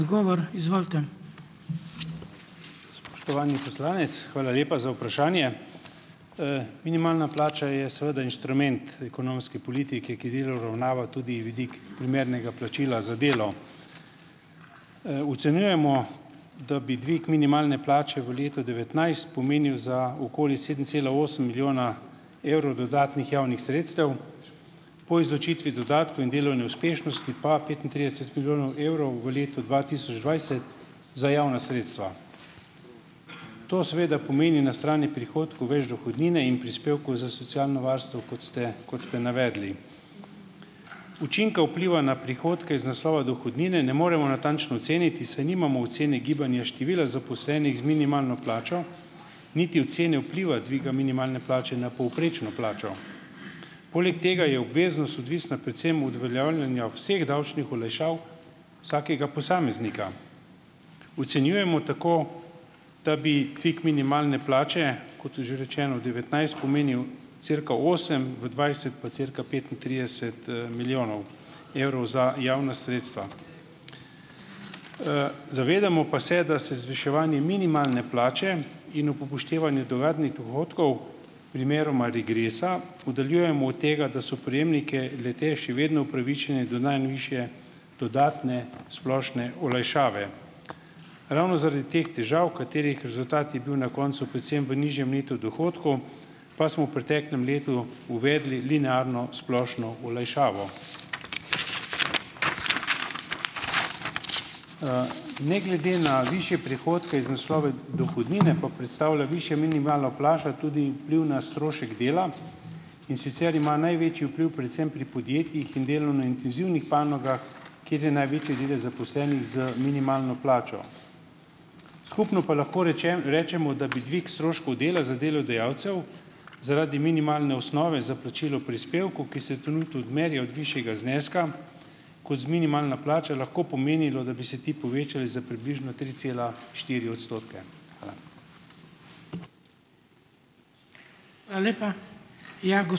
Spoštovani poslanec, hvala lepa za vprašanje. Minimalna plača je seveda inštrument ekonomske politike, ki delno uravnava tudi vidik primernega plačila za delo. Ocenjujemo, da bi dvig minimalne plače v letu devetnajst pomenil za okoli sedem cela osem milijona evrov dodatnih javnih sredstev, po izločitvi dodatkov in delovne uspešnosti pa petintrideset milijonov evrov v letu dva tisoč dvajset za javna sredstva. To seveda pomeni na strani prihodkov več dohodnine in prispevkov za socialno varstvo, kot ste kot ste navedli. Učinke vpliva na prihodke iz naslova dohodnine ne moremo natančno oceniti, saj nimamo ocene gibanja števila zaposlenih z minimalno plačo, niti ocene vpliva dviga minimalne plače na povprečno plačo. Poleg tega je obveznost odvisna predvsem od uveljavljanja vseh davčnih olajšav vsakega posameznika. Ocenjujemo tako, da bi dvig minimalne plače, kot je že rečeno v devetnajst pomenil cirka osem, v dvajset pa cirka petintrideset, milijonov evrov za javna sredstva. Zavedamo pa se, da se zviševanje minimalne plače in ob upoštevanju dodatnih dohodkov, primeroma regresa, oddaljujemo od tega, da so prejemniki le-teh še vedno upravičeni do najvišje dodatne splošne olajšave. Ravno zaradi teh težav, katerih rezultat je bil na koncu predvsem v nižjem neto dohodku, pa smo v preteklem letu uvedli linearno splošno olajšavo. Ne glede na višje prihodke iz naslova dohodnine, pa predstavlja višja minimalna plača tudi vpliv na strošek dela, in sicer ima največji vpliv predvsem pri podjetjih in delo na intenzivnih panogah, kjer je največji delež zaposlenih z minimalno plačo. Skupno pa lahko rečemo, da bi dvig stroškov dela za delodajalcev zaradi minimalne osnove za plačilo prispevkov, ki se trenutno odmerijo od višjega zneska, kot z minimalno plačo, lahko pomenilo, da bi se ti povečali za približno tri cela štiri odstotke. Hvala.